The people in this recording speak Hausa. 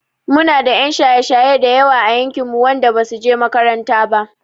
Muna da 'yan shaye-shaye da yawa a yankinmu wanda basu he makaranta ba.